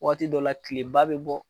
Waati dɔw la , tileba bɛ bɔ!